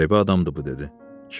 Qəribə adamdır bu, dedi.